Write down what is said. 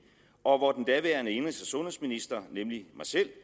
og hvor den daværende indenrigs og sundhedsminister nemlig mig selv